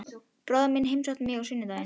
Bróðir minn heimsótti mig á sunnudaginn.